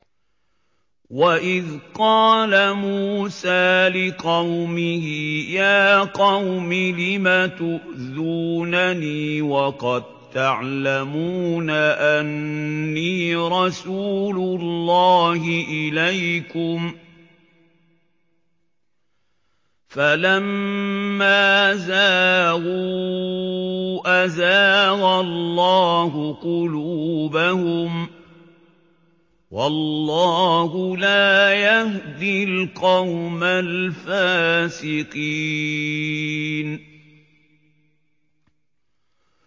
وَإِذْ قَالَ مُوسَىٰ لِقَوْمِهِ يَا قَوْمِ لِمَ تُؤْذُونَنِي وَقَد تَّعْلَمُونَ أَنِّي رَسُولُ اللَّهِ إِلَيْكُمْ ۖ فَلَمَّا زَاغُوا أَزَاغَ اللَّهُ قُلُوبَهُمْ ۚ وَاللَّهُ لَا يَهْدِي الْقَوْمَ الْفَاسِقِينَ